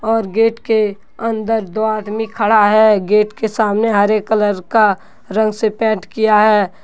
और गेट के अंदर दो आदमी खड़ा है। गेट के सामने हरे कलर का रंग से पेंट किया है।